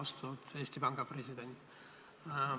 Austatud Eesti Panga president!